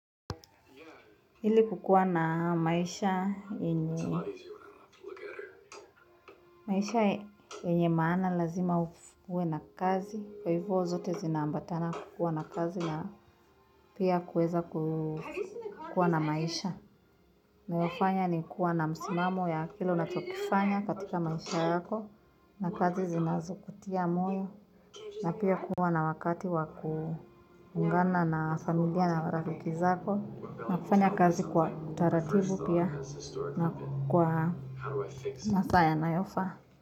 Ili kukuwa na maisha maisha yenye maana lazima ukuwe na kazi. Kwa hivyo zote zinaambatana kukuwa na kazi na pia kuweza kukuwa na maisha. Nayofanya ni kuwa na msimamo ya kile unachokifanya katika maisha yako. Na kazi zinazokutia moyo. Na pia kuwa na wakati wakuungana na familia na marafiki zako. Na kufanya kazi kwa taratibu pia na kwa masaa yanayofaa.